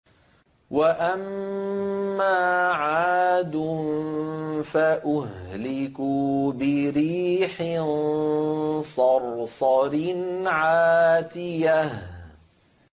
وَأَمَّا عَادٌ فَأُهْلِكُوا بِرِيحٍ صَرْصَرٍ عَاتِيَةٍ